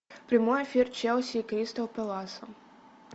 прямой эфир челси и кристал пэласа